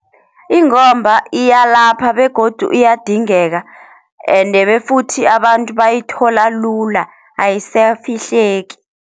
Ingomba iyalapha begodu iyadingeka ende befuthi abantu bayithola lula ayisafihleki.